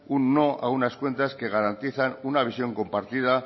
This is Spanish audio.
un no a unas cuentas que garantizan una visión compartida